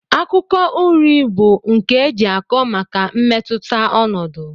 Akụkọ uri bu nke eji akọ maka mmetụta ọnọdụ.